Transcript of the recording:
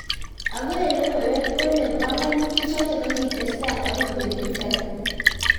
agoe legowek kolee banganutik choto kokitekta okoi betut ake